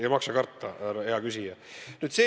Ei maksa karta, härra hea küsija.